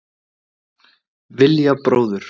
Vilja bróður